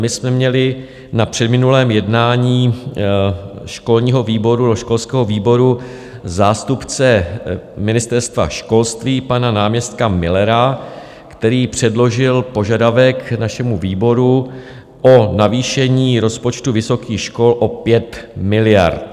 My jsme měli na předminulém jednání školského výboru zástupce Ministerstva školství pana náměstka Millera, který předložil požadavek našemu výboru o navýšení rozpočtu vysokých škol o 5 miliard.